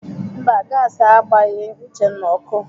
Mba, gasi agbaghị Uchenna ọkụ.